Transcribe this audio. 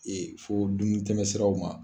fɔ dumuni tɛmɛ siraw ma.